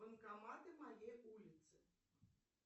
банкоматы моей улицы